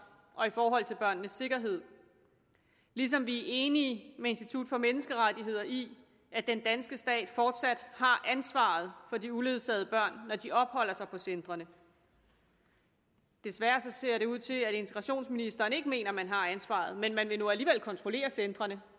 og i forhold til børnenes sikkerhed ligesom vi er enige med institut for menneskerettigheder i at den danske stat fortsat har ansvaret for de uledsagede børn når de opholder sig på centrene desværre ser det ud til at integrationsministeren ikke mener at man har ansvaret men man vil nu alligevel kontrollere centrene